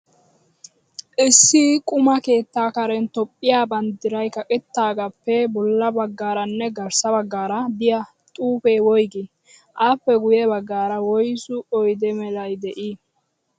Issi quma keettaa karen Toophphiya banddiray kaqettidaagaappe bolla baggaaranne garssa baggaara diya xuupee woyigii? Appe guyye baggaara woyisu oyidee mela dii?